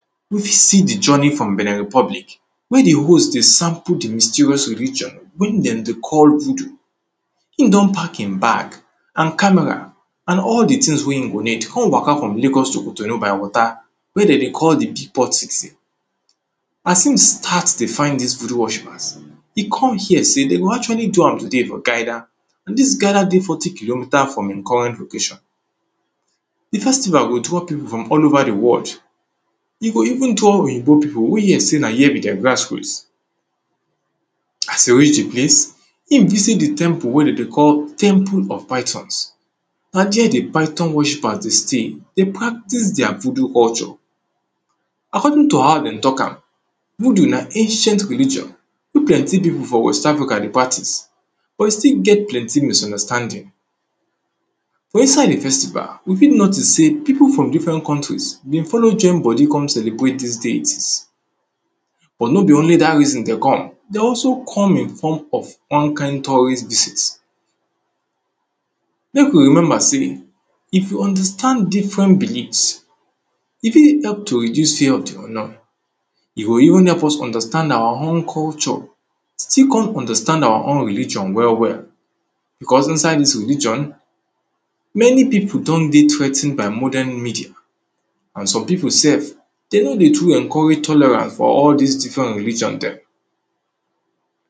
you fit see the journey from benin republic, wey dey host dey sample the mysterious religion, wey dem dey call voodoo. in don pack im bag and camera, and all di tings wey e go need to con waka from lagos to cotonou by water, wey de dey the big port city. as in start dey find dis voodoo worshippers. e con hear sey dem go actually do am today for kaida, and dis kaida dey forty kilometer from in current location. the festival na e go draw pipu from all over the world, e go even draw oyibo pipu wey hear sey na here be deir grassroots. as e reach the place in feel sey the temple wey den dey call temple of pythons, na dere the python worshippers dey stay dey practice deir voodoo culture. according to how dem tok am, voodoo na ancient religion, wey plenty pipu for west africa dey practice, but e still get plenty misunderstanding. for inside the festival, we fit notice sey pipu from different countries, dey follow join body con celebrate dis deities but no be only dat reason dem come, de also come in form of one kind tourist visit. mek we remember sey, if you understand different beliefs, e fit help to reduce fear of the unknown, e go even help us understand awa own culture, still con understand awa own religion well well, because inside dis religion, many pipu don dey threa ten ed by modern media and some pipu sef, de no dey too encourage tolerance for all dis different religion dem.